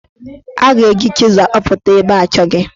A ga-eji chịzụ akapụta ebe achọghị.